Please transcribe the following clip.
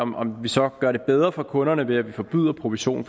med om vi så gør det bedre for kunderne ved at vi forbyder provision